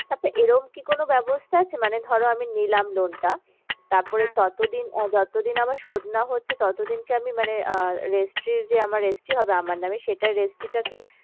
আচ্ছা এরম কি কোনো ব্যবস্থা আছে মানে ধরো আমি নিলাম loan টা তারপরে ততদিন আহ যতদিন আমার শোধ না হচ্ছে ততদিন কি আমি মানে আহ registry যে আমার registry হবে আমার নামে সেটা registry টা কি